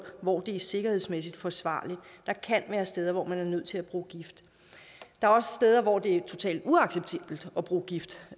hvor det er sikkerhedsmæssigt forsvarligt der kan være steder hvor man er nødt til at bruge gift der er også steder hvor det er totalt uacceptabelt at bruge gift